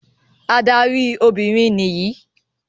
Adarí Obìnrin níyì.